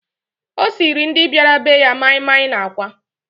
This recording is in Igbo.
O siiri ndị bịara be ya maịmaị na àkwá.